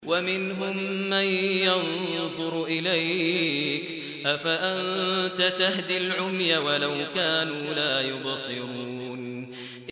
وَمِنْهُم مَّن يَنظُرُ إِلَيْكَ ۚ أَفَأَنتَ تَهْدِي الْعُمْيَ وَلَوْ كَانُوا لَا يُبْصِرُونَ